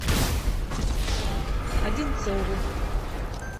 одинцову